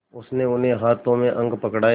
उसने उन्हें हाथों में अंक पकड़ाए